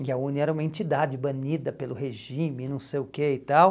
E a UNE era uma entidade banida pelo regime, não sei o quê e tal.